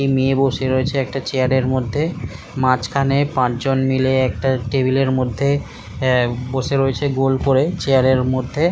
একটি মেয়ে বসে রয়েছে একটা চেয়ারের মধ্যে মাঝখানে পাঁচজন মাইল বসে রয়েছে গোল করে ।